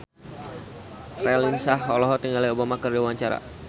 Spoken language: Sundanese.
Raline Shah olohok ningali Obama keur diwawancara